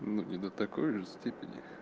ну не до такой же степени